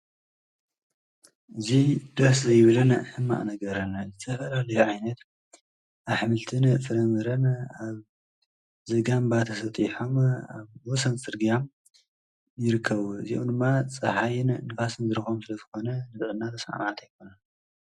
እዚ ደሰ ዝይብልን ሕማቕ ነገረን ዝተፋላለዩ ዓይነት ኣሕምልትን ፍረምረን ኣብ ዘጋምባ ተሰጥሖም ኣብ ወሰን ፅረግያ ይርክቡ፡፡ እዝኦሞ ድማ ፃሓይን ንፋስን ይረኽቦም ስለዝኾነ ዝረአና ንጥዕና ተስማዕማዕቲ ኣይኮኑን፡፡